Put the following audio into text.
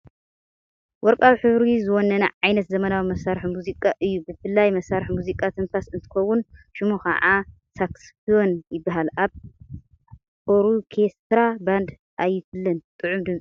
ወርቃዊ ሕብሪ ዝወነነ ዓይነት ዘመናዊ መሳርሒ ሙዚቃ እዩ፡፡ ብፉልይ መሳርሒ ሙዚቃ ትንፋስ እንትኸዉን ሽሙ ኸዓ ሳክስፎን ይበሃል፡፡ ካብ ኦርኬስትራ ባንዲ ኣይፍለን::ጥዑም ድምፂ ኣለዎ፡፡